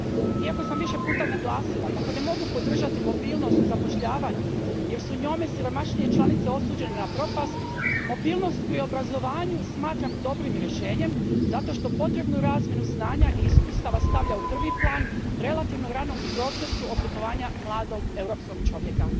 Iako sam više puta naglasila kako ne mogu podržati mobilnost u zapošljavanju, jer su njome siromašnije članice osuđene na propast, mobilnost pri obrazovanju smatram dobrim rješenjem zato što potrebnu razmjenu znanja i iskustava stavlja u prvi plan relativno rano u procesu oblikovanja mladog europskog čovjeka.